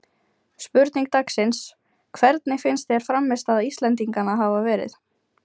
Spurning dagsins: Hvernig finnst þér frammistaða Íslendinganna hafa verið?